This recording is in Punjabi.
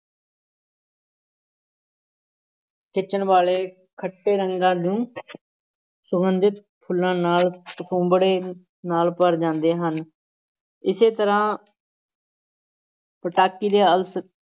ਖਿੱਚਣ ਵਾਲੇ ਖੱਟੇ ਰੰਗਾਂ ਨੂੰ ਸੁਗੰਧਿਤ ਫੁੱਲਾਂ ਨਾਲ ਕਸੁੰਭੜੇ ਨਾਲ ਭਰ ਜਾਂਦੇ ਹਨ, ਇਸੇ ਤਰ੍ਹਾਂ ਪਟਾਕੀ ਤੇ ਅਲਸ~